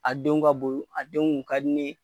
A denw ka bon a denw ka di ne ye